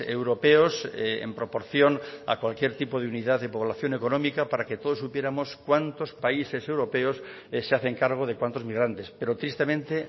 europeos en proporción a cualquier tipo de unidad de población económica para que todos supiéramos cuántos países europeos se hacen cargo de cuántos migrantes pero tristemente